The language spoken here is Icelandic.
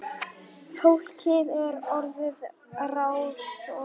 Fólkið er orðið ráðþrota